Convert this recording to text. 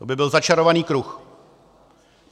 To by byl začarovaný kruh.